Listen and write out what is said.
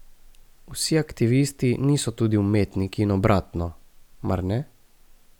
Vsi aktivisti niso tudi umetniki in obratno, mar ne?